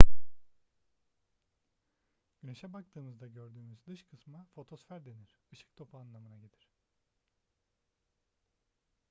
güneşe baktığımızda gördüğümüz dış kısma fotosfer denir ışık topu anlamına gelir